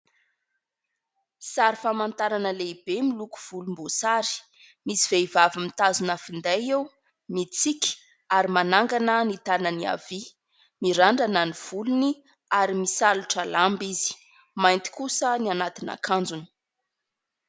Sary famantarana lehibe miloko volomboasary. Misy vehivavy mitazona finday eo mitsiky ary manangana ny tananany havia. Mirandrana ny volony ary misalotra lamba izy ; mainty kosa ny anatina akanjony.